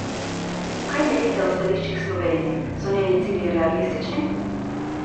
Kaj menite o stališčih Slovenije, so njeni cilji realistični?